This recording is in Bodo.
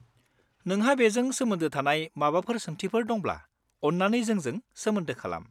नोंहा बेजों सोमोन्दो थानाय माबाफोर सोंथिफोर दंब्ला अन्नानै जोंजों सोमोन्दो खालाम।